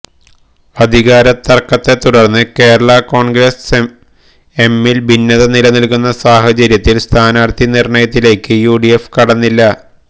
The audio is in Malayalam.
അധികാര തര്ക്കത്തെ തുടര്ന്ന് കേരളാ കോണ്ഗ്രസ് എമ്മില് ഭിന്നത നിലനില്ക്കുന്ന സാഹചര്യത്തില് സ്ഥാനാര്ഥി നിര്ണയത്തിലേക്ക് യുഡിഎഫ് കടന്നില്ല